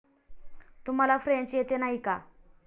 तुम्हाला फ्रेंच येते, नाही का?